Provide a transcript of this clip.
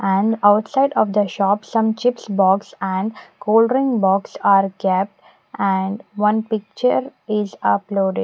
and outside of the shop some chips box and cool drink box are kept and one picture is uploadi--